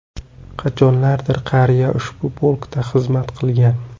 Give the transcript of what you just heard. Qachonlardir qariya ushbu polkda xizmat qilgan.